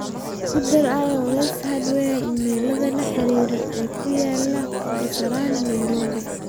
ku dar iowes hardware iimaylada la xiriira ee ku yaala kasarani nairobi